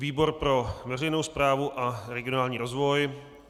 Výbor pro veřejnou správu a regionální rozvoj.